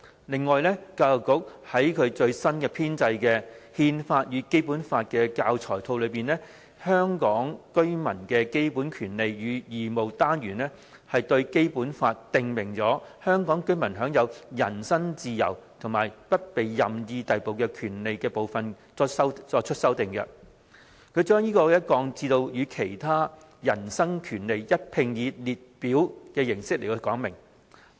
另外，教育局在其最新編製的〈憲法與《基本法》教材套〉的"香港居民的基本權利與義務"單元，對《基本法》訂明香港居民享有人身自由和不被任意逮捕的權利的部分作出修訂，把其降至與其他人身權利一併以列表形式說明。